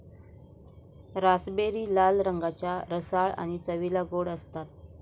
Raspberry लाल रंगाच्या, रसाळ आणि चवीला गोड असतात.